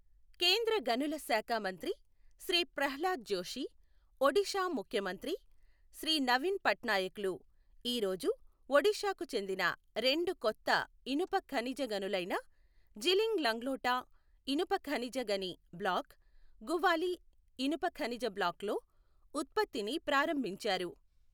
కేంద్ర గనుల శాఖ మంత్రి శ్రీ ప్రహ్లాద్ జోషి, ఒడిషా ముఖ్యమంత్రి శ్రీ నవీన్ పట్నాయక్ లు ఈ రోజు ఒడిషాకు చెందిన రెండు కొత్త ఇనుప ఖనిజ గనులైన జిలింగ్ లంగ్లోటా ఇనుప ఖనిజ గని బ్లాక్, గువాలి ఇనుప ఖనిజ బ్లాక్లలో ఉత్పత్తిని ప్రారంభించారు.